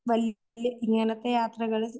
വല്ല്യ